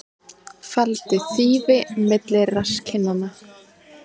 Faldi þýfi milli rasskinnanna